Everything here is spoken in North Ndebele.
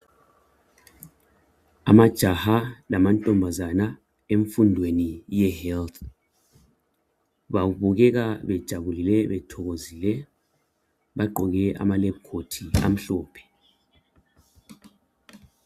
Amajaha lamantombazana emfundweni ye 'health' babukeka bethokozile, bejabulile, bagqoke amalebhukhothi amhlophe.